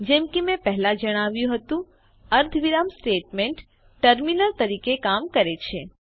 જેમ કે મેં પહેલા જણાવ્યું હતું અર્ધવિરામ સ્ટેટમેન્ટ ટર્મીનેટર તરીકે કામ કરે છે